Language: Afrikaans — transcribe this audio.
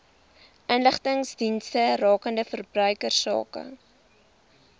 inligtingsdienste rakende verbruikersake